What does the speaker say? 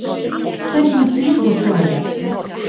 Hvernig getur svona gerst?